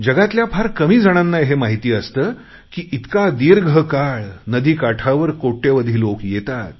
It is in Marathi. जगातल्या फार कमी जणांना हे माहीत असतं की इतका दीर्घकाळ नदी काठावर कोट्यवधी लोक येतात